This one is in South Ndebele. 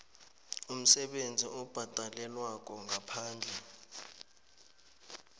umsebenzi obhadalelwako ngaphandle